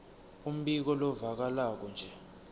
umbiko lovakalako nje